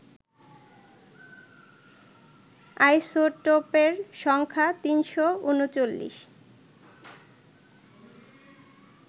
আইসোটোপের সংখ্যা ৩৩৯